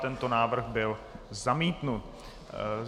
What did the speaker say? Tento návrh byl zamítnut.